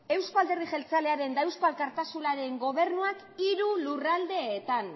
euzko alderdi jeltzalearen eta eusko alkartasunaren gobernuak hiru lurraldeetan